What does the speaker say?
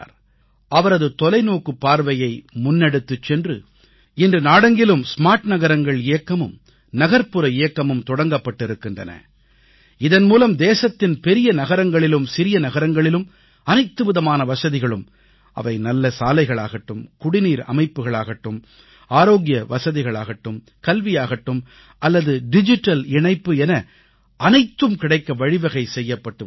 அவரது தொலைநோக்குப் பார்வையை முன்னெடுத்துச் சென்று இன்று நாடெங்கிலும் ஸ்மார்ட் நகரங்கள் இயக்கமும் நகர்ப்புற இயக்கமும் தொடங்கப்பட்டிருக்கின்றன இதன் மூலம் தேசத்தின் பெரிய நகரங்களிலும் சிறிய நகரங்களிலும் அனைத்துவிதமான வசதிகளும் அவை நல்ல சாலைகளாகட்டும் குடிநீர் அமைப்புக்களாகட்டும் ஆரோக்கிய வசதிகளாகட்டும் கல்வியாகட்டும் அல்லது டிஜிட்டல் இணைப்பு என அனைத்தும் கிடைக்க வழிவகை செய்யபப்ட்டு வருகிறது